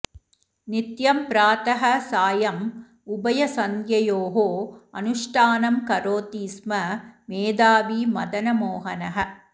नित्यं प्रातः सायम् उभयसन्ध्ययोः अनुष्ठानं करोति स्म मेधावी मदनमोहनः